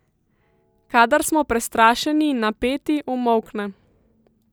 Kadar smo prestrašeni in napeti, umolkne.